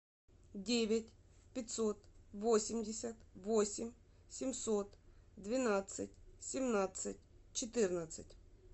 девять пятьсот восемьдесят восемь семьсот двенадцать семнадцать четырнадцать